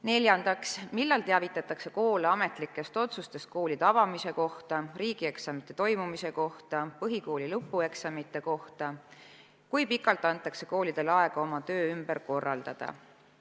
Neljandaks, millal teavitatakse koole ametlikest otsustest koolide avamise, riigieksamite toimumise ja põhikooli lõpueksamite tegemise kohta ja kui pikalt antakse koolidele aega oma töö ümber korraldada?